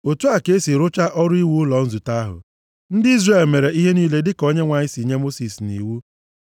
Otu a ka ha si rụchaa ọrụ iwu ụlọ nzute ahụ. Ndị Izrel mere ihe niile dịka Onyenwe anyị si nye Mosis nʼiwu.